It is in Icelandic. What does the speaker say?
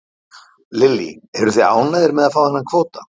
Lillý: Eruð þið ánægðir með að fá þennan kvóta?